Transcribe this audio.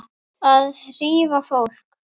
Að hrífa fólk.